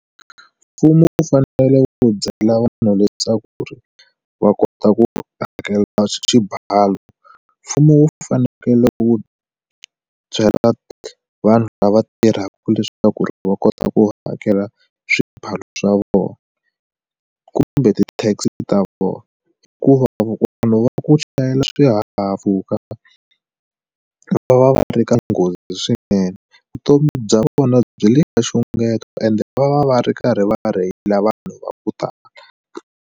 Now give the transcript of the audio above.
Mfumo wu fanele wu byela vanhu leswaku ri va kota ku hakela xibalo mfumo wu fanekele ku byela vanhu lava tirhaka leswaku ri va kota ku hakela swibalo swa vona kumbe ti taxi ta vona hikuva vanhu va ku chayela swihahampfhuka va va va ri ka nghozi swinene vutomi bya vona byi le ka xungeto ende lava va va ri karhi va rheyila vanhu va ku tala.